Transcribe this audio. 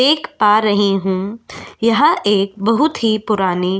देख पा रही हूँ यह एक बहुत ही पुरानी --